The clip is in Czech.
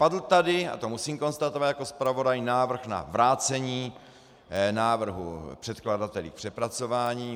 Padl tady - a to musím konstatovat jako zpravodaj - návrh na vrácení návrhu předkladateli k přepracování.